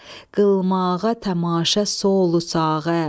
qılmağa tamaşa solu sağı.